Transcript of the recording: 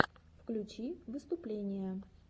включи выступления